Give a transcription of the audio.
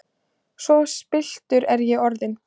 Svo spilltur er ég orðinn!